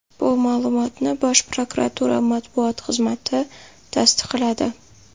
Bu ma’lumotni Bosh prokuratura matbuot xizmati tasdiqladi.